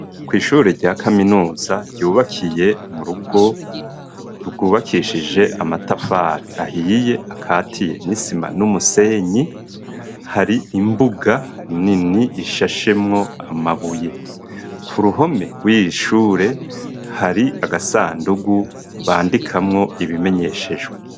Kw'ishure, rya kaminuza, ryubakiye mu rugo, rwubakishije amatafari, ahiye, akatiye n'isima, n'umusenyi; hari imbuga nini, ishashemwo amabuye; ku ruhome, rw'iyi shure, hari agasandugu, bandikamwo ibimenyeshejwe.